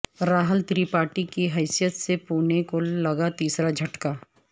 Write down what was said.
راہل ترپاٹھی کی حیثیت سے پونے کو لگا تیسرا جھٹکا